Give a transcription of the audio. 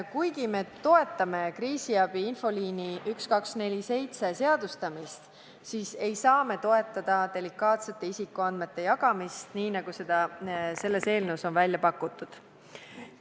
Kuigi me toetame kriisiabi infoliini 1247 seadustamist, ei saa me toetada delikaatsete isikuandmete jagamist nii, nagu selles eelnõus on välja pakutud.